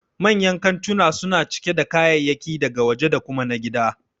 Manyan kantuna suna cike da kayayyaki daga waje da kuma na gida